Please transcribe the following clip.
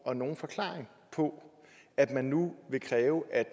og nogen forklaring på at man nu vil kræve at